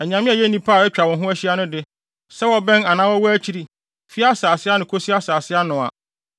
anyame a ɛyɛ nnipa a atwa wo ho ahyia no de, sɛ wɔbɛn anaa wɔwɔ akyiri, fi asase ano kosi ano no a,